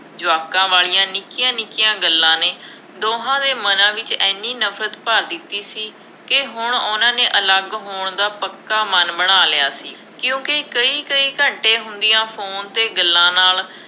ਜਵਾਕਾਂ ਵਾਲੀਆ ਨਿੱਕੀਆਂ-ਨਿੱਕੀਆਂ ਗੱਲਾਂ ਨੇ, ਦੋਹਾਂ ਦੇ ਮਨਾਂ ਵਿੱਚ ਐਨੀ ਨਫਰਤ ਭਰ ਦਿੱਤੀ ਸੀ ਕਿ ਹੁਣ ਉਹਨਾ ਨੇ ਅਲੱਗ ਹੋਣ ਦਾ ਪੱਕਾ ਮਨ ਬਣਾ ਲਿਆ ਸੀ, ਕਿਉਂਕਿ ਕਈ ਕਈ ਘੰਟੇ ਹੁੰਦੀਆਂ ਫੋਨ 'ਤੇ ਗੱਲਾਂ ਨਾਲ,